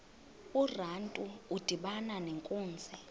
urantu udibana nenkunzi